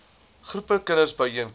groepe kinders byeenkom